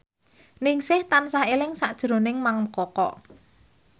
Ningsih tansah eling sakjroning Mang Koko